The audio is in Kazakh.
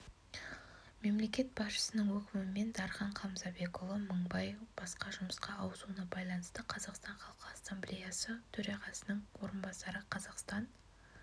мемлекет басшысының өкімімен дархан қамзабекұлы мыңбай басқа жұмысқа ауысуына байланысты қазақстан халқы ассамблеясы төрағасының орынбасары қазақстан